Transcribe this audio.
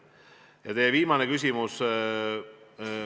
Nüüd teie viimane küsimus.